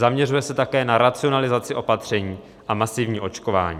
Zaměřuje se také na racionalizaci opatření a masivní očkování.